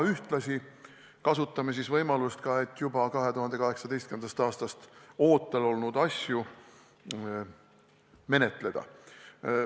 Ühtlasi aga kasutame võimalust juba 2018. aastast ootel olnud asju menetleda.